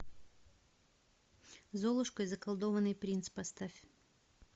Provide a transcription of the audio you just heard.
золушка и заколдованный принц поставь